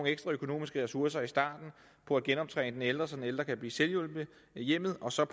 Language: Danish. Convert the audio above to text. ekstra økonomiske ressourcer i starten på at genoptræne den ældre så den ældre kan blive selvhjulpen i hjemmet og så